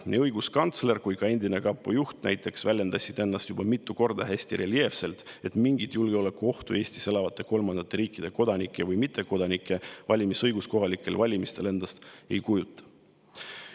Nii õiguskantsler kui ka endine kapo juht näiteks väljendasid mitu korda hästi reljeefselt, et mingit julgeolekuohtu Eestis elavate kolmandate riikide kodanike või mittekodanike valimisõigus kohalikel valimistel endast ei kujuta.